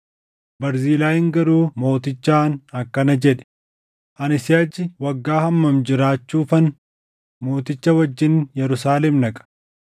Barzilaayiin garuu mootichaan akkana jedhe; “Ani siʼachi waggaa hammam jiraachuufan mooticha wajjin Yerusaalem dhaqa?